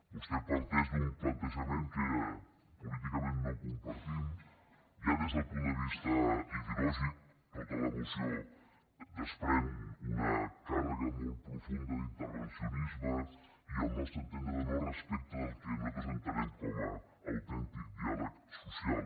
vostè parteix d’un plantejament que políticament no compartim ja des del punt de vista ideològic tota la moció desprèn una càrrega molt profunda d’intervencionisme i al nostre entendre no respecta el que nosaltres entenem com a autèntic diàleg social